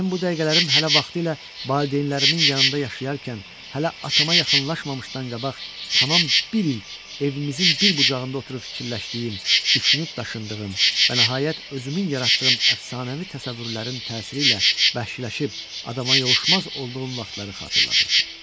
Mənim bu dəqiqələrim hələ vaxtilə valideynlərimin yanında yaşayarkən, hələ atama yaxınlaşmamışdan qabaq, tam bir il evimizin bir bucağında oturub fikirləşdiyim, düşünüb daşındığım və nəhayət özümün yaratdığım əfsanəvi təsəvvürlərin təsiri ilə bəşşiləşib adama yovuşmaz olduğum vaxtları xatırladırdı.